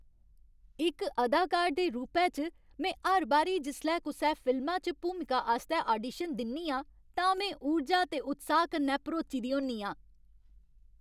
इक अदाकार दे रूपै च, में हर बारी जिसलै कुसै फिल्मा च भूमिका आस्तै आडीशन दिन्नी आं तां में ऊर्जा ते उत्साह कन्नै भरोची दी होन्नी आं।